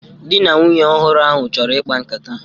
Di na nwunye ọhụrụ ahụ chọrọ ikpa nkata